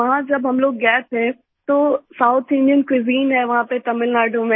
वहाँ जब हम लोग गए थे तो साउथ इंडियन क्यूजिन है वहाँ पे तमिलनाडु में